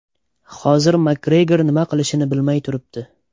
Hozir Makgregor nima qilishini bilmay turibdi.